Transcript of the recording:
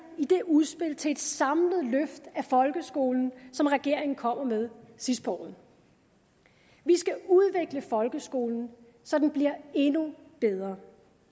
i det udspil til et samlet løft af folkeskolen som regeringen kommer med sidst på året vi skal udvikle folkeskolen så den bliver endnu bedre